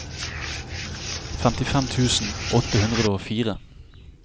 femtifem tusen åtte hundre og fire